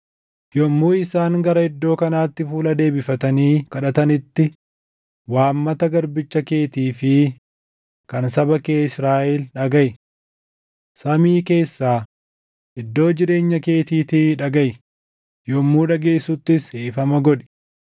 Yommuu isaan gara iddoo kanaatti fuula deebifatanii kadhatanitti waammata garbicha keetii fi kan saba kee Israaʼel dhagaʼi. Samii keessaa, iddoo jireenya keetiitii dhagaʼi; yommuu dhageessuttis dhiifama godhi.